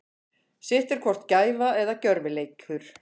Sitt er hvort gæfa eða gjörvileikur.